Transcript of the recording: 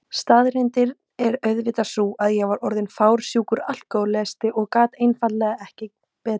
Staðreyndin er auðvitað sú að ég var orðin fársjúkur alkohólisti og gat einfaldlega ekki betur.